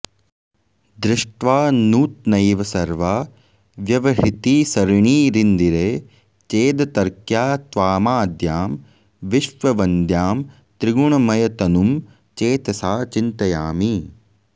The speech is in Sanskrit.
दृष्ट्वा नूत्नैव सर्वा व्यवहृतिसरणीरिन्दिरे चेदतर्क्या त्वामाद्यां विश्ववन्द्यां त्रिगुणमयतनुं चेतसा चिन्तयामि